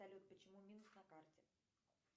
салют почему минск на карте